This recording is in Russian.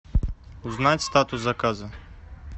узнать статус заказа